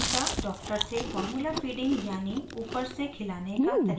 फिर anita doctor से formulafeeding यानि ऊपर से खिलाने का तरीका पूछती है